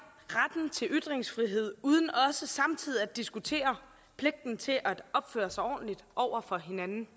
retten til ytringsfrihed uden også samtidig at diskutere pligten til at opføre sig ordentligt over for hinanden